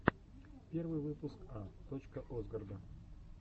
первый выпуск а точка осгарда